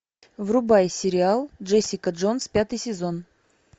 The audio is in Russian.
врубай сериал джессика джонс пятый сезон